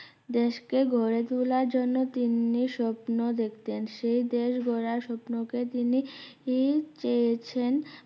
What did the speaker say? দেশকে গড়েতোলার জন্য তিনি স্বপ্ন দেখতেন সেই দেশ গড়ার স্বপ্নকে তিনি ই চেয়েছেন